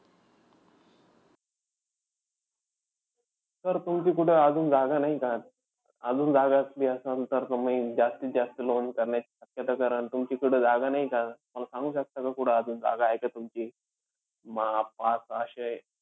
Sir तुमची कुठे अजून जागा नाहीये का? अजून जागा असली असन तर तुम्ही जास्तीत जास्त loan करण्याची शक्यता कराल. तुमच्याकडे जागा नाहीये का? मला सांगू शकता का कुठं अजून जागा आहे का तुमची अं पाच-सहाशे